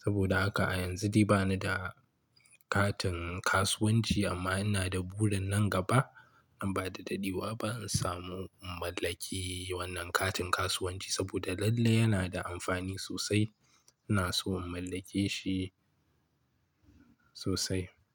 Saboda haka a yanzu de bani da katin kasuwanci amma ina da burin nan gaba nan bada daɗewa ba in samu in mallaki wannan katin kasuwanci saboda lalle yana da amfani sosai. Ina so in mallake shi sosai.